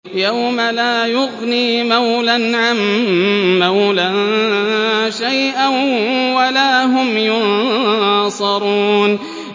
يَوْمَ لَا يُغْنِي مَوْلًى عَن مَّوْلًى شَيْئًا وَلَا هُمْ يُنصَرُونَ